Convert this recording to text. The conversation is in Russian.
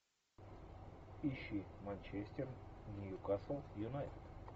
ищи манчестер ньюкасл юнайтед